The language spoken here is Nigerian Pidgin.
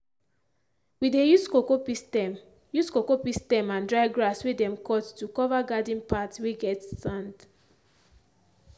we dey use cowpea stem use cowpea stem and dry grass whey them cut to cover garden path whey get sand